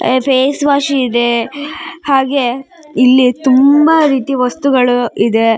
ಆ face wash ಇದೆ ಹಾಗೆ ಇಲ್ಲಿ ತುಂಬಾ ರೀತಿ ವಸ್ತುಗಳು ಇದೆ .